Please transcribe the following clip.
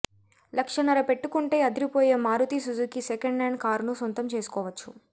లక్షన్నర పెట్టుకుంటే అదిరిపోయే మారుతీ సుజుకీ సెకండ్ హ్యాండ్ కారును సొంతం చేసుకోవచ్చు